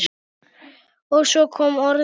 Og svo kom orðið